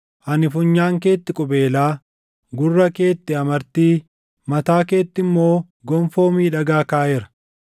ani funyaan keetti qubeelaa, gurra keetti amartii, mataa keetti immoo gonfoo miidhagaa kaaʼeera.